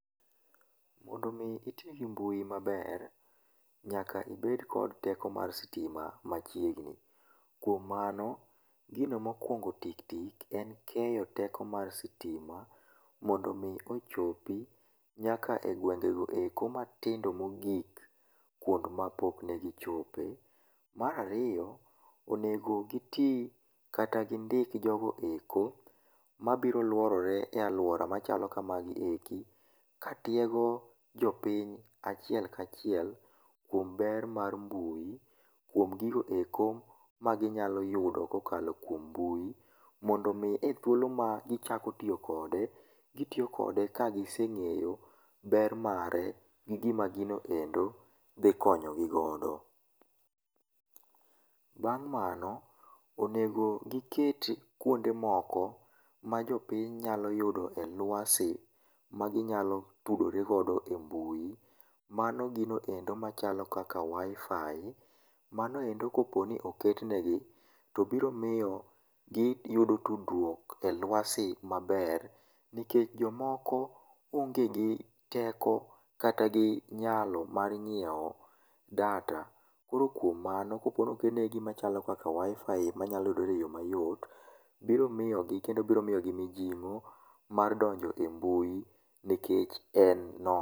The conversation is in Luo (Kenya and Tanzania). Mondo mii itii gi mbui maber, nyaka ibed kod teko mar sitima machiegni. Kwom mano, gino mokwongo tiktik en keyo teko mar sitima mondo mii ochopi nyaka e gwengego eko matindo mogik, kwond ma pok negichope. Marario, onego gitii kata gindik jogoeko mabiro lworore e alwora machalo kamagieki katiego jopiny achiel kachiel kwom ber mar mbui, kwom gigoeko maginyalo yudo kokalo kwom mbui, mondo mii e thuolo ma gichako tio kode, gitio kode ka giseng'eyo ber mare gi gima ginoendo dhi konyogi godo. Bang' mano, onego giket kwonde moko majopiny nyalo yudoe lwasi maginyalo tudoregodo e mbui. Mano ginendo machalo kaka wi-fi, manoendo koponi oketnegi to biro mio giyudo tudrwok e lwasi maber, nikech jomoko onge gi teko kata gi nyalo mar nyieo data. Koro kwom mano ka koro okelnegi gima chalo kaka wi-fi manyalo yudore mayot, biro miyogi kendo biro miyogi mijing'o mar donjo e mbui nikech en no..